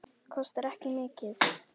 Kostar ekki mikið.